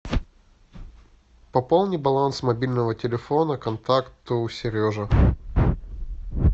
пополни баланс мобильного телефона контакту сережа